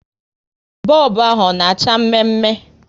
Bọlbụ ahụ ọ na acha mme mme?